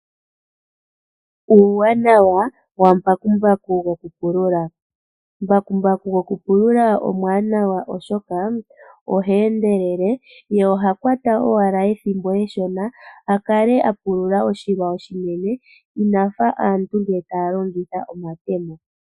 Uuwanawa wambakumbaku gokupulula Mbakumbaku gokupulula omuwanawa, oshoka oha endelele ye oha kwata owala ethimbo eshona a kale a pulula oshilwa oshinene ina fa aantu ngele taya longitha omatemo.